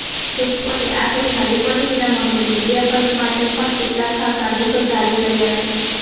supreme કોર્ટે આ કેસમાં રિપોર્ટિંગના મામલે મિડિયા માટે પણ કેટલાક ખાસ આદેશો જારી કર્યા છે